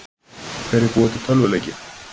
Hverjir búa til tölvuleiki?